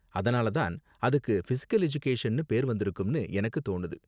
அதனால தான் அதுக்கு ஃபிசிகல் எஜுகேஷன்னு பேரு வந்திருக்கும்னு எனக்கு தோணுது.